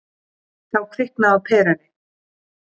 Þá kviknaði á perunni.